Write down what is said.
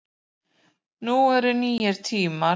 Nú eru nýir tímar